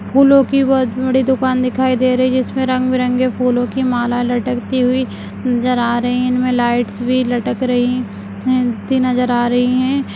फूलों की बहुत बड़ी दुकान दिखाई दे रही है जिसमे रंग बिरंगे की फूलों की मालाए लटकती हुई नजर आ रहे हैं इनमें लाइट्स भी लटक रही हैं नजर आ रहे हैं।